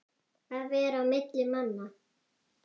Að vera á milli manna!